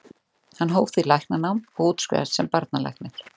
hann hóf því læknanám og útskrifaðist sem barnalæknir